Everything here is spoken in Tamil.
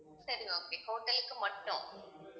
சரி okay hotel லுக்கு மட்டும்